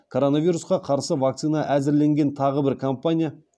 коронавирусқа қарсы вакцина әзірленген тағы бір компания